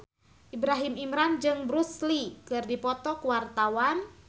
Ibrahim Imran jeung Bruce Lee keur dipoto ku wartawan